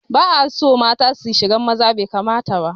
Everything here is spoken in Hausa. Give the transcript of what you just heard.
Ba'aso mata suna shigan maza, bai kamata ba